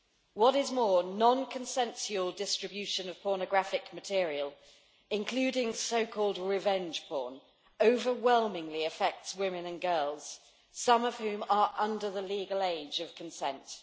What is more, non consensual distribution of pornographic material, including so called revenge porn, overwhelmingly affects women and girls, some of whom are under the legal age of consent.